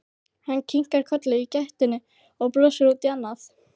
Hann kinkar kolli í gættinni og brosir út í annað.